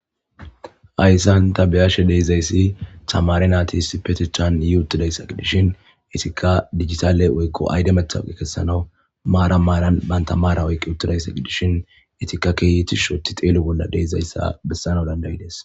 Hayssan ta be7ashe dizayssi tamaare naati issippetethan yii uttidayssa gidishin ettikka dijitaale woykkao ayde mtawuqqe gidishin maaran maaran bantta maara oyqqi uttidayssa gidishin etikka kehi tishi udididi xeelo bolli diyayssa besanaw danda7idees.